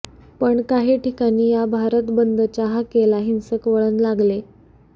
पण काही ठिकाणी या भारत बंदच्या हाकेला हिंसक वळण लागले